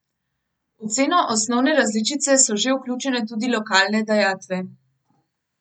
V ceno osnovne različice so že vključene tudi lokalne dajatve.